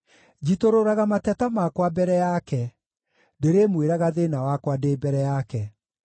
Njitũrũraga mateta makwa mbere yake; ndĩrĩmwĩraga thĩĩna wakwa ndĩ mbere yake.